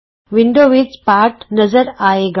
window ਵਿਚ ਪਾਠ ਨਜ਼ਰ ਆਏਗਾ